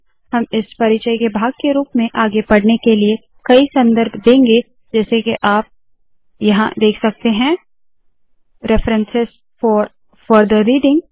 हम इस परिचय के भाग के रूप में आगे पढने के लिए कई संदर्भ देंगे जैसे के आप यहाँ देख सकते है रेफरेंस फोर फर्थर रीडिंग